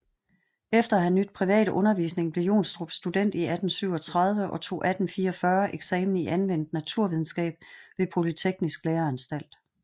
Efter at have nydt privat undervisning blev Johnstrup student 1837 og tog 1844 eksamen i anvendt naturvidenskab ved Polyteknisk Læreanstalt